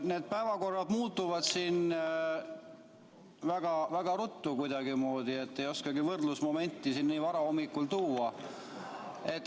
Need päevakorrad muutuvad siin kuidagi väga ruttu, ei oskagi võrdlusmomenti siin nii vara hommikul tuua.